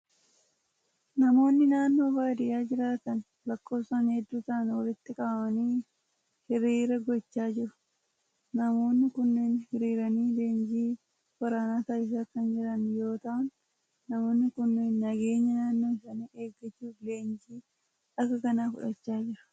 Namoonni naannoo baadiyaa jiraatan lakkoofsan hedduu ta'an walitti qabamanii hiriira gochaa jiru. Namoonni kunneen hiriiranii leenjii waraanaa taasisaa kan jiran yoo ta'an, namoonni kunneen nageenya naannoo isaanii eeggachuuf leenjii akka kanaa fudhachaa jiru.